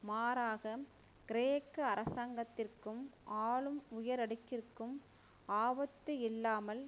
மாறாக கிரேக்க அரசாங்கத்திற்கும் ஆளும் உயரடுக்கிற்கும் ஆபத்து இல்லாமல்